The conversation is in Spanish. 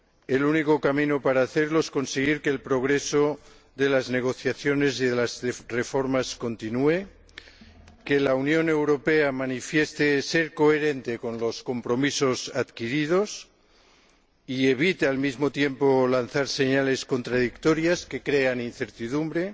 El único camino para hacerlo es conseguir que el progreso de las negociaciones y de las reformas continúe, que la Unión Europea manifieste ser coherente con los compromisos adquiridos y que evite, al mismo tiempo, lanzar señales contradictorias que crean incertidumbre.